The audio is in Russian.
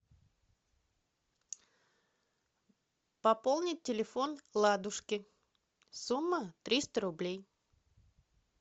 пополнить телефон ладушки сумма триста рублей